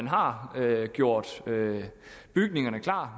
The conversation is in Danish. har gjort bygningerne klar